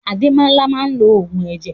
Ademola maa lo ogun eje.